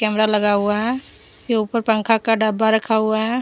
Camera लगा हुआ है ऐ ऊपर पंखा का डब्बा रखा हुआ है।